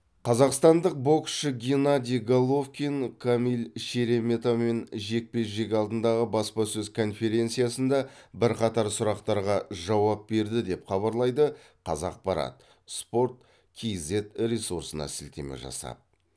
қазақстандық боксшы геннадий головкин камил шереметамен жекпе жек алдындағы баспасөз конференциясында бірқатар сұрақтарға жауап берді деп хабарлайды қазақпарат спорт кзет ресурсына сілтеме жасап